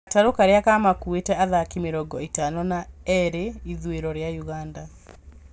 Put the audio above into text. Gatarũ karĩa kamakuĩte athaki mĩrongo ĩtano na eroreri ithũĩro rĩa Uganda